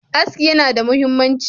Aski yana da muhimmanci.